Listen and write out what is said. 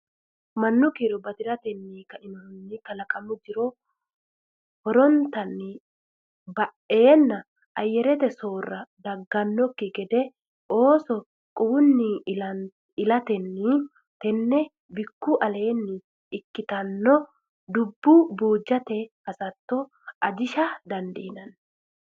Mannu kiiro bati ranni kainohunni kalaqamu jiro horrante ba eenna ayyarete soorrama daggannokki gede ooso quwunni ilatenni tenne bikku aleenni ikkitinota dubbo buujjate hasatto ajisha dandiinanni.